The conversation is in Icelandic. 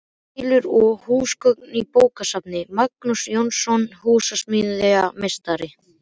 Hillur og húsgögn í bókasafn: Magnús Jónsson, húsasmíðameistari.